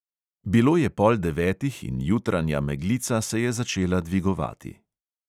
Bilo je pol devetih in jutranja meglica se je začenjala dvigovati.